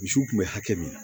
Misiw kun bɛ hakɛ min